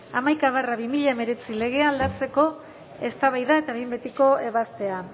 hamaika barra bi mila hemeretzi legea aldatzekoa eztabaida eta behin betiko ebazpena